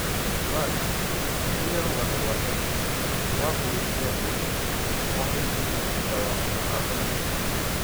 Zimbari nĩirĩ rũgano rwatene rwa ngũĩ cia ndũriri o-hindi thutha wa gũcagũranwo.